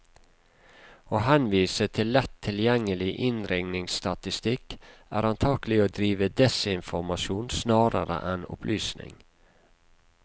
Å henvise til lett tilgjengelig innringningsstatistikk, er antagelig å drive desinformasjon snarere enn opplysning.